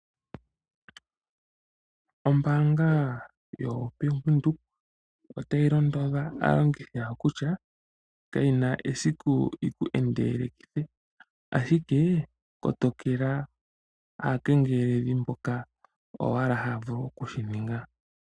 Ombaanga yoBank Windhoek otayi londodha aalongithi yawo kutya kayi na esiku yiku endeleleke mokuninga omataambathano, ashike kotokela aakengelekedhi oshoka oyo owala haya vulu oku shi ninga